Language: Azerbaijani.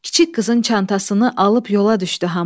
Kiçik qızın çantasını alıb yola düşdü haman.